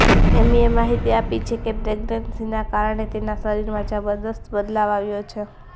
એમીએ માહિતી આપી છે કે પ્રેગનન્સીના કારણે તેના શરીરમાં જબરદસ્ત બદલાવ આવ્યો છે